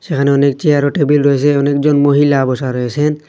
সেখানে অনেক চেয়ার ও টেবিল রয়েসে অনেকজন মহিলা বসা রয়েসেন।